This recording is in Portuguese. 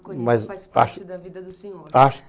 O faz parte da vida do senhor?